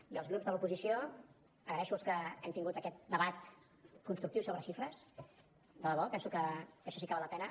i dels grups de l’oposició dono les gràcies als que hem tingut aquest debat constructiu sobre xifres de debò penso que això sí que val la pena